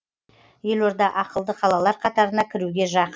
елорда ақылды қалалар қатарына кіруге жақын